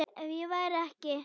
Ef ég væri ekki